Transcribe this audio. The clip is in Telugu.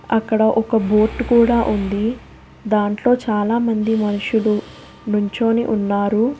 అక్కడ ఒక బోటు కూడా ఉంది దాంట్లో చాలామంది మనుషులు నుంచొని ఉన్నారు.